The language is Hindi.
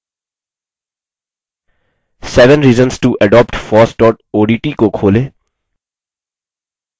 sevenreasonstoadoptfossodt को खोलें